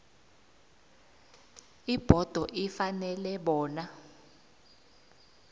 ibhodo ifanele bona